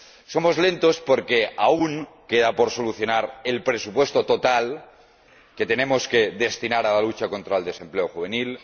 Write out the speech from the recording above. Somos lentos porque aún queda por solucionar el presupuesto total que tenemos que destinar a la lucha contra el desempleo juvenil